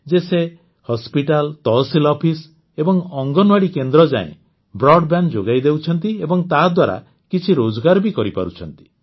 ଏ ଲୋକମାନେ ଗ୍ରାମର school hospital tehsil office ଏବଂ ଅଙ୍ଗନବାଡ଼ି କେନ୍ଦ୍ରଯାଏ ବ୍ରଡବ୍ୟାଣ୍ଡ ଯୋଗାଇ ଦେଉଛନ୍ତି ଏବଂ ତାଦ୍ୱାରା କିଛି ରୋଜଗାର ବି କରିପାରୁଛନ୍ତି